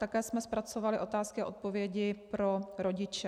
Také jsme zpracovali otázky a odpovědi pro rodiče.